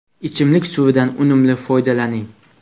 Ichimlik suvidan unumli foydalaning.